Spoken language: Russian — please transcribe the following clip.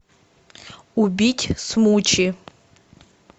убить смучи